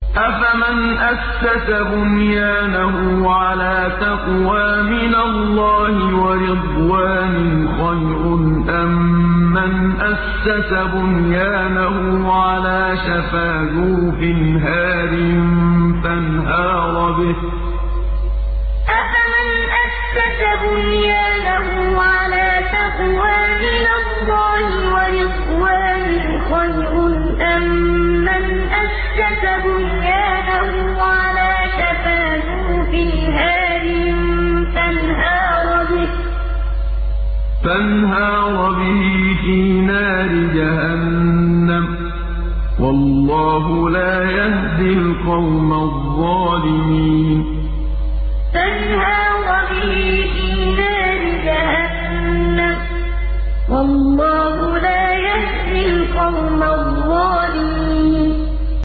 أَفَمَنْ أَسَّسَ بُنْيَانَهُ عَلَىٰ تَقْوَىٰ مِنَ اللَّهِ وَرِضْوَانٍ خَيْرٌ أَم مَّنْ أَسَّسَ بُنْيَانَهُ عَلَىٰ شَفَا جُرُفٍ هَارٍ فَانْهَارَ بِهِ فِي نَارِ جَهَنَّمَ ۗ وَاللَّهُ لَا يَهْدِي الْقَوْمَ الظَّالِمِينَ أَفَمَنْ أَسَّسَ بُنْيَانَهُ عَلَىٰ تَقْوَىٰ مِنَ اللَّهِ وَرِضْوَانٍ خَيْرٌ أَم مَّنْ أَسَّسَ بُنْيَانَهُ عَلَىٰ شَفَا جُرُفٍ هَارٍ فَانْهَارَ بِهِ فِي نَارِ جَهَنَّمَ ۗ وَاللَّهُ لَا يَهْدِي الْقَوْمَ الظَّالِمِينَ